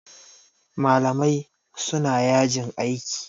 Malamai suna yajin aiki.